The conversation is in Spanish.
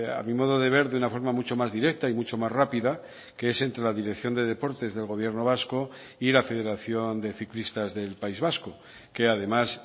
a mi modo de ver de una forma mucho más directa y mucho más rápida que es entre la dirección de deportes del gobierno vasco y la federación de ciclistas del país vasco que además